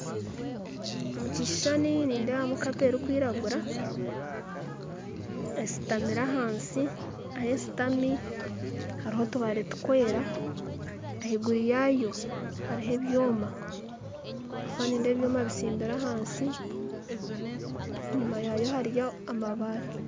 Omukishushani nindeebamu kapa erikwiragura esitamire ahansi ahusitami hariho otubare tukwera ahaiguru yaayo hariho ebyoma abwokuba nindeeba ebyoma bisimbire ahantsi enyima yaayo hariyo amabare